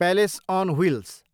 palace on wheels